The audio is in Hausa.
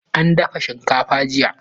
An dafa shinkafar jiya